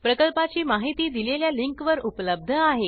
प्रकल्पाची माहिती दिलेल्या लिंकवर उपलब्ध आहे